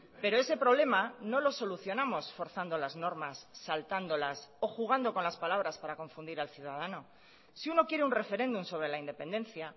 pero ese problema no lo solucionamos forzando las normas saltándolas o jugando con las palabras para confundir al ciudadano si uno quiere un referéndum sobre la independencia